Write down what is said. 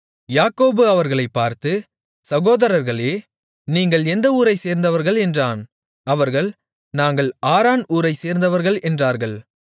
யாக்கோபு அவர்களைப் பார்த்து சகோதரர்களே நீங்கள் எந்த ஊரைச் சேர்ந்தவர்கள் என்றான் அவர்கள் நாங்கள் ஆரான் ஊரைச் சேர்ந்தவர்கள் என்றார்கள்